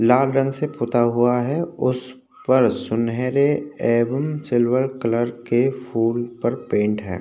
लाल रंग से पुता हुआ है उस पर सुनहरे एवमं सिल्वर कलर से पेंट है।